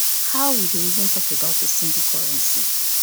how we dey even talk about a single currency